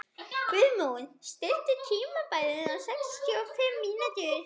Guðmon, stilltu tímamælinn á sextíu og fimm mínútur.